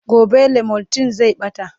gobe limotyl zan Bata